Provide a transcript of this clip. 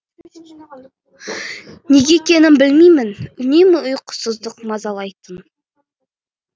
неге екенін білмеймін үнемі ұйқысыздық мазалайтын